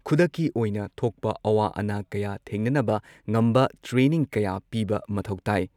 ꯈꯨꯗꯛꯀꯤ ꯑꯣꯏꯅ ꯊꯣꯛꯄ ꯑꯋꯥ ꯑꯅꯥ ꯀꯌꯥ ꯊꯦꯡꯅꯅꯕ ꯉꯝꯕ ꯇ꯭ꯔꯦꯅꯤꯡ ꯀꯌꯥ ꯄꯤꯕ ꯃꯊꯧ ꯇꯥꯏ